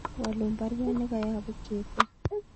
Waluun baruet nekoyobu Kevo